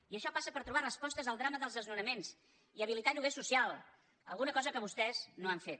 i això passa per trobar resposta al drama dels desnonaments i habilitar lloguer social una cosa que vostès no han fet